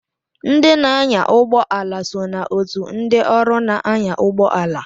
Ndị na-anya ụgbọ ala so na otù ndị ọrụ na-anya ụgbọala.